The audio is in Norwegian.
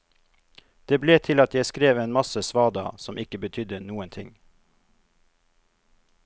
Det ble til at jeg skrev en masse svada som ikke betydde noen ting.